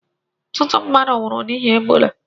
Ọtụtụ mmadụ nwụrụ n'ihi Ebola